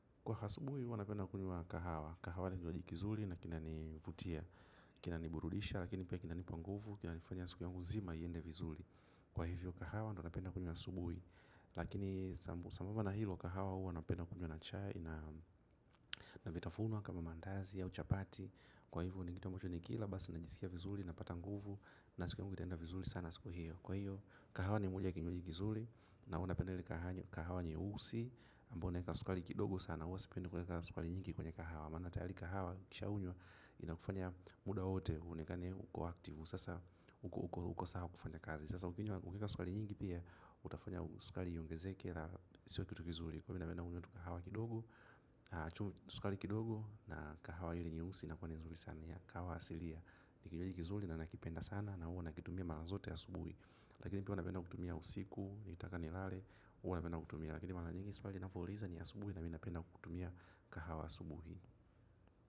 Kwa asubuhi huwa napenda kunywa kahawa. Kahawa ni kinywaji kizuri na kinanivutia, kinaniburudisha, lakini pia kinanipa nguvu, kinanifanya siku yangu zima iende vizuri. Kwa hivyo kahawa ndo napenda kunywa asubui, lakini sambusa na hilo kahawa huwa napenda kunywa na chai na vitafunwa kama mandazi ya au chapati. Kwa hivyo ni kitu ambacho nikila basi najisikia vizuri napata nguvu na siku yangu itaenda vizuri sana siku hiyo. Kwa hiyo, kahawa ni moja ya kinywaji kizuri na huwa napenda ile kahawa nyeusi ambayo unaweka sukari kidogo sana huwa sipendi kuweka sukari nyingi kwenye kahawa maana tayari kahawa ukishaunywa inakufanya muda wote uonekane uko active sasa uko uko sawa kufanya kazi. Sasa ukinywa ukiweka sukari nyingi pia utafanya sukari iongezeke na sio kitu kizuri kwa hivyo napenda kunywa tu kahawa kidogo. Sukari kidogo na kahawa ile nyeusi inakuwa ni nzuri sana ya kahawa asilia. Ni kinywaji kizuri na nakipenda sana na huwa nakitumia mara zote asubuhi. Lakini pia huwa napenda kutumia usiku, nikitaka nilale huwa napenda kutumia, lakini mara nyingi swali napouliza ni asubuhi na mi napenda kutumia kahawa asubuhi.